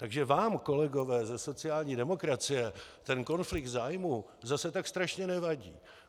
Takže vám, kolegové ze sociální demokracie, ten konflikt zájmů zase tak strašně nevadí.